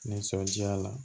Nisɔndiya la